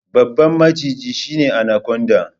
Babban maciji shine anaconda.